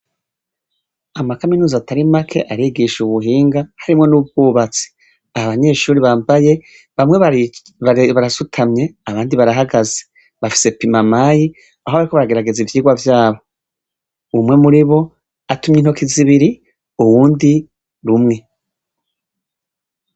Amakaminuza atari make arigisha ubuhinga ,harimwo n'ubwubatsi abanyeshure bambaye bamwe barasutumye abandi barahagaze bafise bimamayi aho bariko baragerageza ivyirwa vyabo, umwe muribo apima intoki zibiri uwundi rumwe.